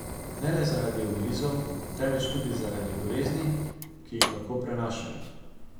Ne le zaradi ugrizov, temveč tudi zaradi bolezni, ki jih lahko prenašajo.